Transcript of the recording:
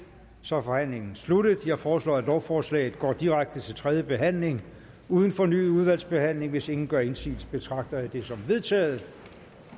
så er forhandlingen sluttet jeg foreslår at lovforslaget går direkte til tredje behandling uden fornyet udvalgsbehandling hvis ingen gør indsigelse betragter jeg det som vedtaget